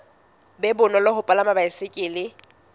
be bonolo ho palama baesekele